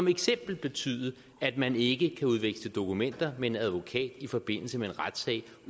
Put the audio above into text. eksempel betyde at man ikke kan udveksle dokumenter med en advokat i forbindelse med en retssag